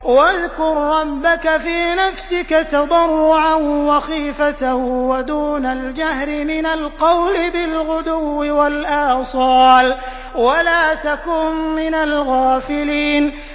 وَاذْكُر رَّبَّكَ فِي نَفْسِكَ تَضَرُّعًا وَخِيفَةً وَدُونَ الْجَهْرِ مِنَ الْقَوْلِ بِالْغُدُوِّ وَالْآصَالِ وَلَا تَكُن مِّنَ الْغَافِلِينَ